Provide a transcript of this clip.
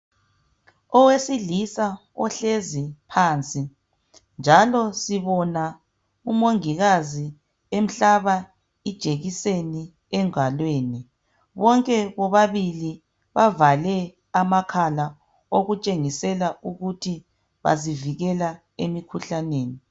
Owesilisa ohlezi phansi, njalo sibona umongikazi emhlaba ijekiseni engalweni. Bonke bobabili bavale amakhala okutshengisela ukuthi bazivikela emikhuhlaneni.